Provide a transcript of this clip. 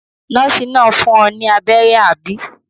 Nọ́ọ́sì náà fún ọ ní abẹ́rẹ́, àbí?